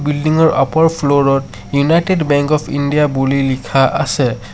Building ৰ upper ফ্লু'ৰ ত ইউনাইটেড বেঙ্ক অফ ইণ্ডিয়া বুলি লিখা আছে।